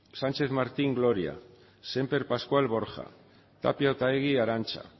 sánchez martín gloria semper pascual borja tapia otaegi arantxa